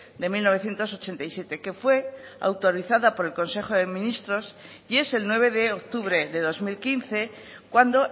de mil novecientos ochenta y siete que fue autorizada por el consejo de ministros y es el nueve de octubre de dos mil quince cuando